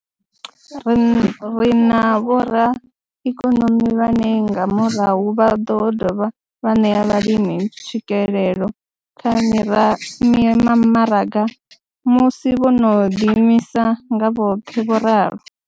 Ri na vhoraikonomi vhane nga murahu vha ḓo dovha vha ṋea vhalimi tswikelelo kha mimaraga musi vho no ḓiimisa nga vhoṱhe, vho ralo.